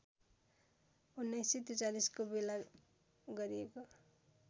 १९४३ को बेला गरिएको